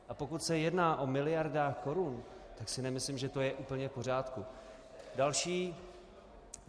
A pokud se jedná o miliardách korun, tak si nemyslím, že to je úplně v pořádku.